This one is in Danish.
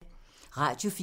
Radio 4